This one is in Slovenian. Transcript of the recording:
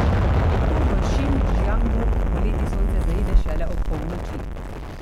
Tako v Šindžjangu poleti sonce zaide šele ob polnoči.